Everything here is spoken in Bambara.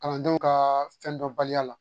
Kalandenw ka fɛn dɔnbaliya la